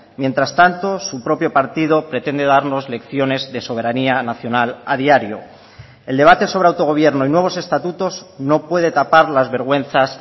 mientras tanto su propio partido pretende darnos lecciones de soberanía nacional a diario el debate sobre autogobierno y nuevos estatutos no puede tapar las vergüenzas